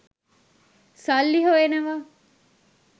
සල්ලි හොයනවා.